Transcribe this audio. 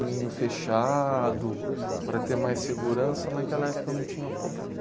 caminho fechado, para ter mais segurança, naquela época não tinha problema.